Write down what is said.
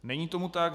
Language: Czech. Není tomu tak.